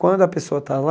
Quando a pessoa está lá,